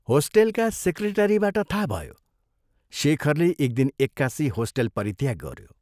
होस्टेलका सेक्रेटरीबाट थाहा भयो, शेखरले एक दिन एक्कासि होस्टेल परित्याग गऱ्यो।